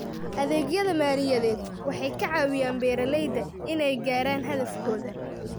Adeegyada maaliyadeed waxay ka caawiyaan beeralayda inay gaadhaan hadafkooda.